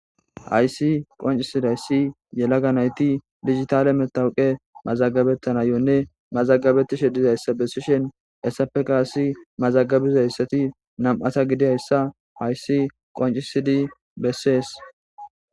Hayssi qoncisidihayssi yelaga nayti digitale matawoqa mazagabetanayone mazagabetishe dizayssa bessishen essappe qase mazagabizayssati nam'ata gidiyayssa hayssi qoncisidi besses.